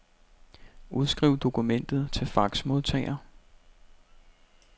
Udskriv dokumentet til faxmodtager.